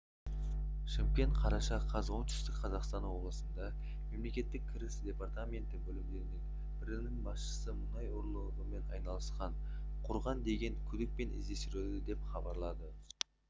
шымкент қараша қаз оңтүстік қазақстан облысында мемлекеттік кіріс департаменті бөлімдерінің бірінің басшысы мұнай ұрлығымен айналысқан құрған деген күдікпен іздестірілуде деп хабарлады